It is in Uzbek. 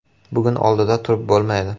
Bugun oldida turib bo‘lmaydi.